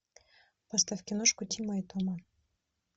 поставь киношку тима и тома